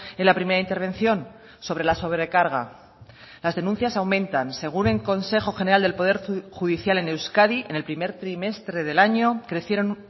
en la primera intervención sobre la sobrecarga las denuncias aumentan según el consejo general del poder judicial en euskadi en el primer trimestre del año crecieron